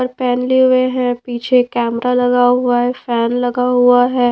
पहन ले हुए हैं पीछे कैमरा लगा हुआ है फैन लगा हुआ है।